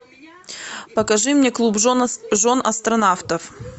покажи мне клуб жен астронавтов